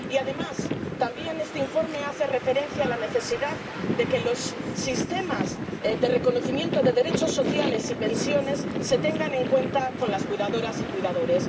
Y, además, este informe también hace referencia a la necesidad de que los sistemas de reconocimiento de derechos sociales y pensiones se tengan en cuenta con las cuidadoras y cuidadores.